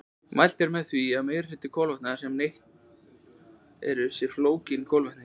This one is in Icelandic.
Mælt er með því að meginhluti kolvetna sem neytt er séu flókin kolvetni.